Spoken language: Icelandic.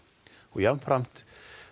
og jafnframt